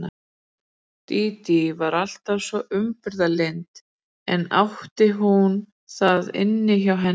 Dídí var alltaf svo umburðarlynd enda átti hún það inni hjá henni.